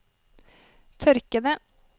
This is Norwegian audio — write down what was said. tørkede